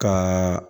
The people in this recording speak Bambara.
Ka